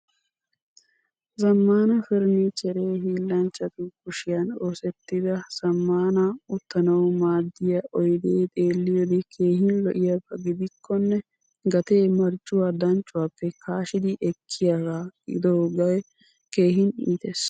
Zamaana furnichchere hillanchchatu kushiyan oosettida zammaana uttanawu maaddiyaa oyde xeelliyode keehin loiyaba gidikone gatee marccuwaa danccuwappe kashshidi ekkiyaga gidoge keehin iittees.